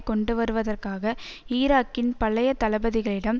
கொண்டுவருவதற்காக ஈராக்கின் பழைய தளபதிகளிடம்